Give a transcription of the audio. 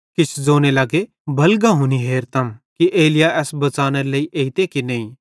किछ ज़ोने लग्गे बलगा हुनी हेरतम कि एलिय्याह एस बच़ाने एइते कि नईं